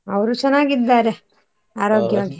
ಅವ್ರು ಚೆನ್ನಾಗಿದ್ದಾರೆ .